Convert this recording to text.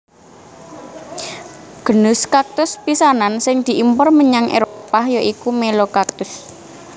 Genus kaktus pisanan sing diimpor menyang Éropah ya iku Melocactus